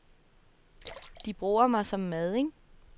De bruger mig som madding.